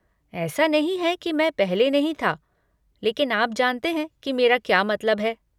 ऐसा नहीं है कि मैं पहले नहीं था, लेकिन आप जानते हैं कि मेरा क्या मतलब है।